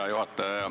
Hea juhataja!